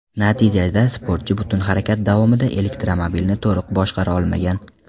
Natijada sportchi butun harakat davomida elektromobilni to‘liq boshqara olgan.